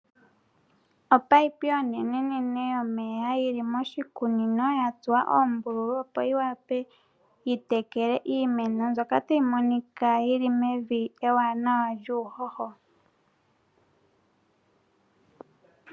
Opayipi onene yili moshikunino yatsuwa oombululu dhokupitila omeya gokutekela iimeno ndjoka tayi monika yili mevi eewa lyuudha uuhoho.